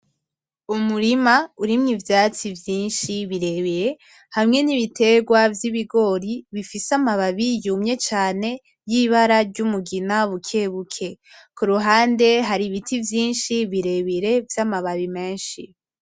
Umurima urimwo ivyatsi vyinshi birebire hamwe nibiterwa vyibigori bifise amababi yumye cane yibara ryumugina bukebuke kuruhande hari ibiti vyinshi birebire vyamababi menshi.